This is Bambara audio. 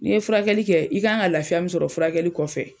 N' ye furakɛli kɛ i ka kan ka lafiya min sɔrɔ o furakɛli kɔfɛ.